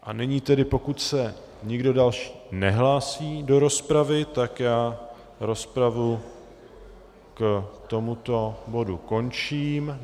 A nyní tedy, pokud se nikdo další nehlásí do rozpravy, tak já rozpravu k tomuto bodu končím.